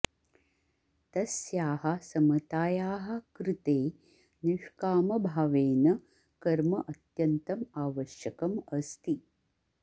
तस्याः समतायाः कृते निष्कामभावेन कर्म अत्यन्तम् आवश्यकम् अस्ति